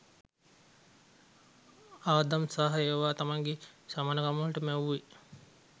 ආදම් සහ ඒව තමන්ගේ සමානකමට මැවුවෙ.